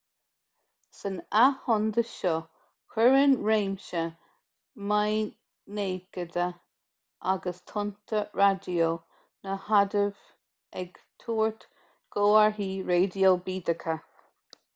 san athshondas seo cuireann réimse maighnéadacha agus tonnta raidió na hadaimh ag tabhairt comharthaí raidió bídeacha